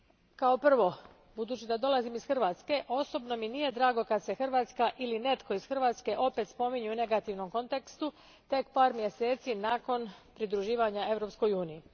Kao prvo, budući da dolazim iz Hrvatske, osobno mi nije drago kad se Hrvatska ili netko iz Hrvatske opet spominje u negativnom kontekstu tek par mjeseci nakon pridruživanja Europskoj uniji.